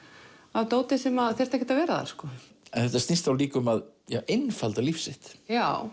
af dóti sem þyrfti ekkert að vera þar þetta snýst þá líka um að einfalda líf sitt já